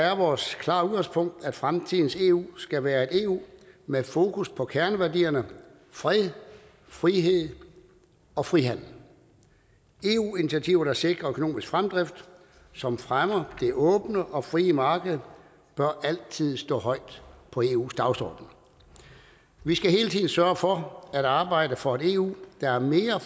er vores klare udgangspunkt at fremtidens eu skal være et eu med fokus på kerneværdierne fred frihed og frihandel eu initiativer der sikrer økonomisk fremdrift som fremmer det åbne og frie marked bør altid stå højt på eus dagsorden vi skal hele tiden sørge for at arbejde for et eu der er mere